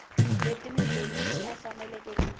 leti mudyondzi a faneleke ku